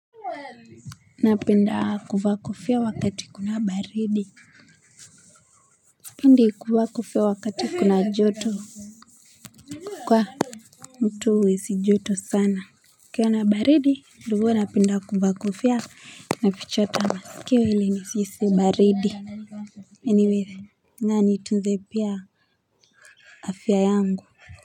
Napenda kuva kofia wakati kuna baridi. Spendi kuva kofia wakati kuna joto. Kwa mtu huhisi joto sana. Kukiwa na baridi ndiyo napenda kuva kofia na fichotama. Kweli, nahisi baridi. Anyway, na nitunze pia afya yangu.